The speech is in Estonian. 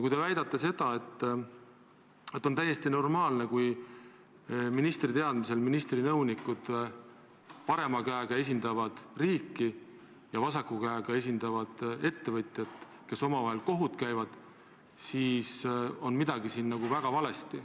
Kui te väidate, et on täiesti normaalne, kui ministri teadmisel ministri nõunikud parema käega esindavad riiki ja vasaku käega esindavad ettevõtjat, kusjuures need käivad omavahel kohut, siis on midagi väga valesti.